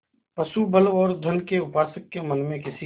पशुबल और धन के उपासक के मन में किसी